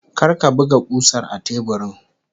Kar ka buga kusar a teburin!